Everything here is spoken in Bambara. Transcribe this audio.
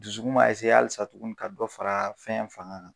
Dusukun b'a halisa tuguni ka dɔ fara fɛn fanga kan.